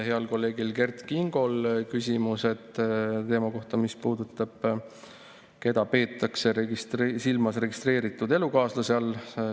Heal kolleegil Kert Kingol oli küsimus selle kohta, keda peetakse silmas registreeritud elukaaslase all.